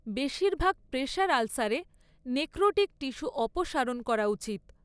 বেশিরভাগ প্রেশার আলসারে necrotic tissue অপসারণ করা উচিত।